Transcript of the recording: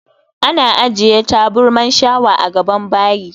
Ana ajiye taburman shawa a gaban bayi